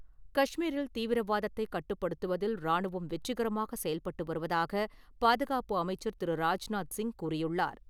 கஷ்மீரில் தீவிரவாதத்தைக் கட்டுப்படுத்துவதில் ராணுவம் வெற்றிகரமாக செயல்பட்டு வருவதாகப் பாதுகாப்பு அமைச்சர் திரு. ராஜ்நாத் சிங் கூறியுள்ளார்.